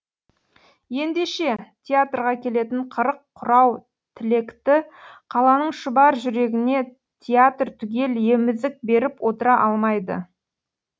ендеше театрға келетін қырық құрау тілекті қаланың шұбар жүрегіне театр түгел емізік беріп отыра алмайды